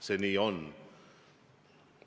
See nii on.